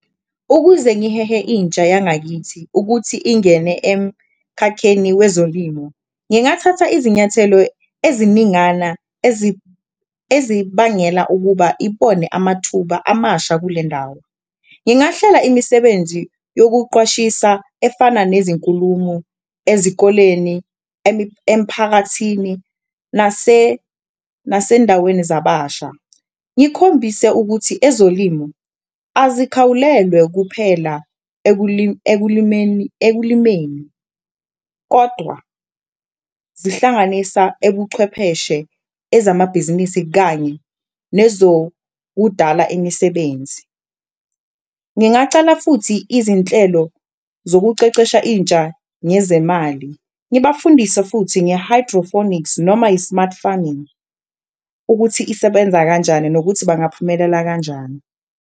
Ukuze ngihehe intsha yangakithi ukuthi ingene emkhakheni wezolimo, ngingathatha izinyathelo eziningana ezibangela ukuba ibone amathuba amasha kule ndawo. Ngingahlela imisebenzi yokuqwashisa efana nezinkulumo ezikoleni, emphakathini nasendaweni zababasha, ngikhombise ukuthi ezolimo azikhawulelwe kuphela ekulimeni, kodwa zihlanganisa ebuchwepheshe, ezamabhizinisi kanye nezokudala imisebenzi. Ngingacala futhi izinhlelo zokucecesha intsha ngezemali, ngibafundise futhi nge-hydroponics noma i-smart farming ukuthi isebenza kanjani nokuthi bangaphumelela kanjani.